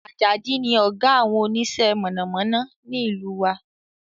Àjàdí ni ọ̀gá àwọn onísẹ́ mọ̀nàmọ́ná ní ìlú wa